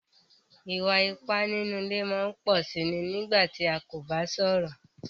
Ìwà-ìpà nínú ilé máa ń pọ̀ sí iní nígbà tí a kò bá sọ̀rọ̀.